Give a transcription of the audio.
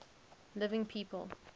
living people